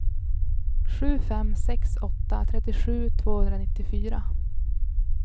sju fem sex åtta trettiosju tvåhundranittiofyra